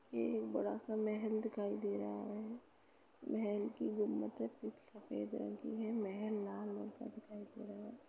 ये एक बड़ा-सा महल दिखाई दे रहा है। महल की गुबंदे कुछ सफेद रंग की है। महल लाल रंग का दिखाई दे रहा है।